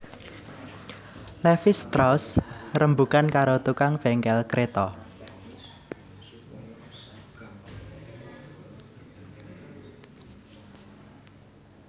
Levis strauss rembugan karo tukang bengkel kreta